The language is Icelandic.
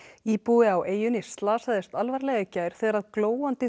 íbúi á eyjunni slasaðist alvarlega í gær þegar glóandi